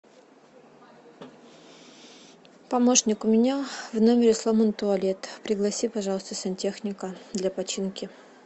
помощник у меня в номере сломан туалет пригласи пожалуйста сантехника для починки